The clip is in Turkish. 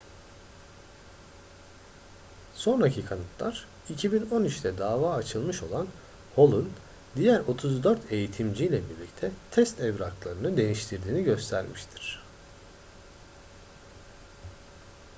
sonraki kanıtlar 2013'te dava açılmış olan hall'un diğer 34 eğitimciyle birlikte test evraklarını değiştirdiğini göstermiştir